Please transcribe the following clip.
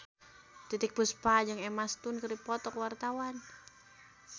Titiek Puspa jeung Emma Stone keur dipoto ku wartawan